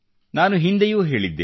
ನಾನು ಹಿಂದೆಯೂ ಹೇಳಿದ್ದೆ